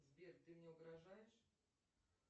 сбер ты мне угрожаешь